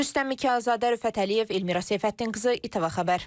Rüstəm Mikayılzadə, Rüfət Əliyev, Elmira Seyfəddinqızı, İTV Xəbər.